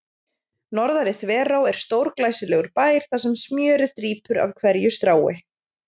Norðari-Þverá er stórglæsilegur bær þar sem smjörið drýpur af hverju strái.